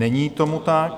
Není tomu tak.